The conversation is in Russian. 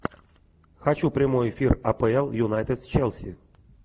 хочу прямой эфир апл юнайтед с челси